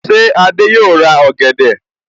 Ṣé Adé yòó ra ọ̀gẹ̀dẹ̀?